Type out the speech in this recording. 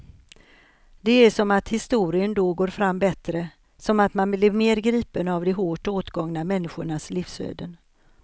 Det är som att historien då går fram bättre, som att man blir mer gripen av de hårt åtgångna människornas livsöden.